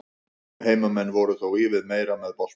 Heimamenn voru þó ívið meira með boltann.